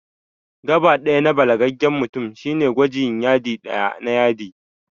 Gaɓa ɗaya na balagaggen mutum shine gwajin Yadi ɗaya na yadi